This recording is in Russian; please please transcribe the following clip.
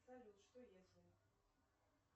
салют что если